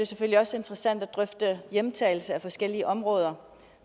selvfølgelig også interessant at drøfte hjemtagelse af forskellige områder